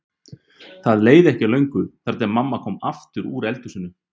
Það leið ekki á löngu þar til mamma kom aftur úr eldhúsinu.